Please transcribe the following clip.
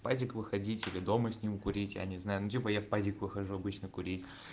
в падик выходить или дома с ним курить я не знаю ну типо я в пазик выхожу обычно курить